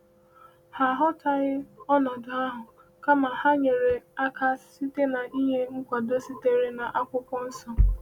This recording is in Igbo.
Ha ghọtaghị ọnọdụ ahụ, kama ha nyere aka site n’ịnye nkwado sitere n’Akwụkwọ Nsọ.